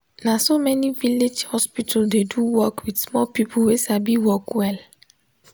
naso many village hospital dey do work with small people wey sabi work well.